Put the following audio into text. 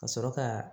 Ka sɔrɔ ka